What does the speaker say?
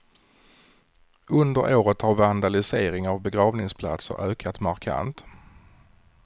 Under året har vandalisering av begravningsplatser ökat markant.